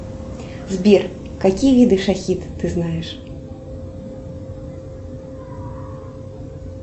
сбер какие виды шахид ты знаешь